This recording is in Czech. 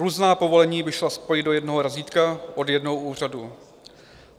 Různá povolení by šla spojit do jednoho razítka od jednoho úřadu.